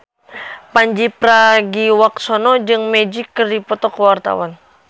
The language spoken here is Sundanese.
Pandji Pragiwaksono jeung Magic keur dipoto ku wartawan